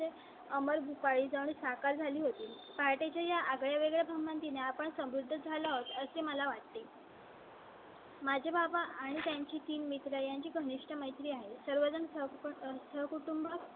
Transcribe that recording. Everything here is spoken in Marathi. अमर भूपाळी जाऊन साकार झाली होती. पहाटेच्या च्या आगळेवेगळे म्हणती ने आपण समृद्ध झाला असे मला वाटते माझ्या बाबा आणि त्यांचे तीन मित्र यांची घनिष्ठ मैत्री आहे. सर्व जण सह कुटुंब